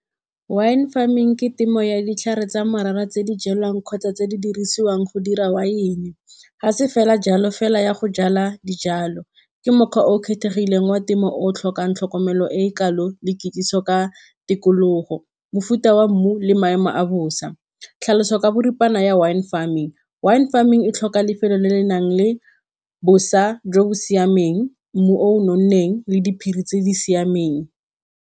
Wine farming ke temo ya ditlhare tsa morara tse di jalwang kgotsa tse di dirisiwang go dira wine. Ga se fela jalo fela ya go jala dijalo, ke mokgwa o o kgethegileng wa temo o o tlhokang tlhokomelo e e kalo le kitsiso ka tikologo, mofuta wa mmu le maemo a bosa. Tlhaloso ka boripana ya wine farming, wine farming e tlhoka lefelo le le nang le bosa jo bo siameng, mmu o o nonneng le diphiri tse di siameng.